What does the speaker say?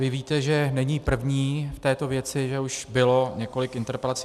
Vy víte, že není první v této věci, že už bylo několik interpelací.